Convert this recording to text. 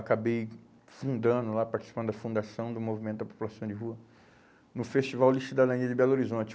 Acabei fundando lá, participando da fundação do Movimento da População de Rua no Festival de Cidadania de Belo Horizonte.